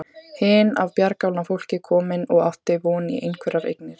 Hin af bjargálna fólki komin og átti von í einhverjar eignir.